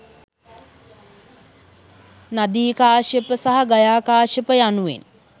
නදී කාශ්‍යප, සහ ගයා කාශ්‍යප යනුවෙන්